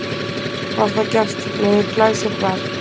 Var það gert með glæsibrag.